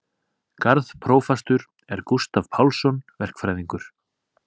Garðprófastur er Gústav Pálsson verkfræðingur.